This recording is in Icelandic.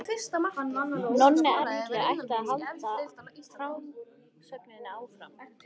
Nonni Erlu ætlaði að halda frásögninni áfram.